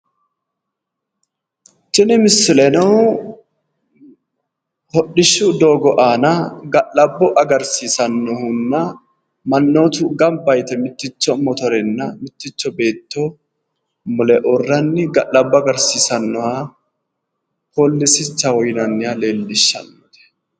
Tini misileno hodhishshu doogga Aanna ga'alabbo agarsiissannohunna mannootu gamba yite mitticho motorenna mitticho beetto mule uurranni ga'llabo agarsiisannoha poolisichaho yinnanniha leellishshanno.